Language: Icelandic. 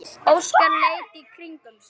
Óskar leit í kringum sig.